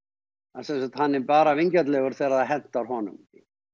hann sýnir hann er bara vingjarnlegur þegar það hentar honum